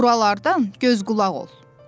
Buralardan göz-qulaq ol.